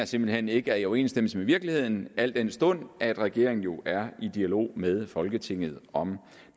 simpelt hen ikke er i overensstemmelse med virkeligheden al den stund regeringen jo er i dialog med folketinget om